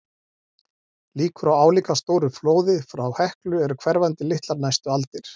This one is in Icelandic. Líkur á álíka stóru flóði frá Heklu eru hverfandi litlar næstu aldir.